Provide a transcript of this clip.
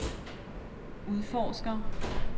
udforsker